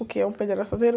O que é um pé de araçazeiro?